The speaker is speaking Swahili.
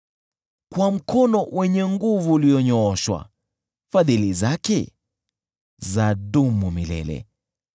Kwa mkono wenye nguvu ulionyooshwa, Fadhili zake zadumu milele .